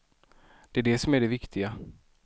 Det är det som är det viktiga.